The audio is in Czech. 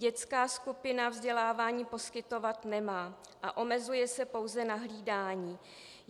Dětská skupina vzdělávání poskytovat nemá a omezuje se pouze na hlídání.